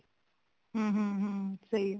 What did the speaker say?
ਹਮ ਹਮ ਹਮ ਸਹੀ ਆ